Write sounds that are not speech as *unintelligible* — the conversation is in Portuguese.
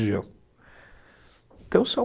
*unintelligible* região *unintelligible*